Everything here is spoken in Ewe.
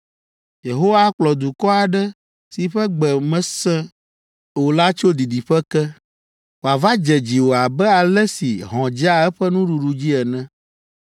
“Yehowa akplɔ dukɔ aɖe si ƒe gbe mèse o la tso didiƒe ke, wòava dze dziwò abe ale si hɔ̃ dzea eƒe nuɖuɖu dzi ene.